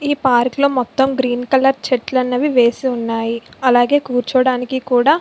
ఈ పార్క్ లొ మోతము గ్రీన్ కలర్ చెట్లు అన్నవి వేసి ఉన్నాయి. అలాగే కూర్చోవడానికి కూడా --